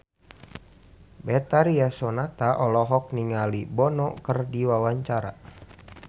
Betharia Sonata olohok ningali Bono keur diwawancara